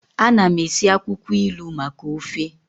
Ana m esi akwukwo ilu maka ofe